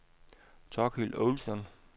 Thorkild Olsson